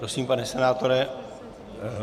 Prosím, pane senátore...